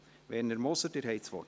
Werner Moser, Sie haben das Wort.